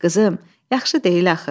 Qızım, yaxşı deyil axı.